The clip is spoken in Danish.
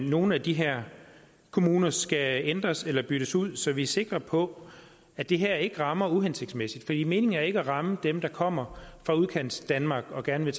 nogle af de her kommuner skal ændres eller byttes ud så vi er sikre på at det her ikke rammer uhensigtsmæssigt meningen er ikke at ramme dem der kommer fra udkantsdanmark og gerne vil